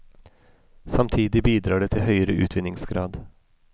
Samtidig bidrar det til høyere utvinningsgrad.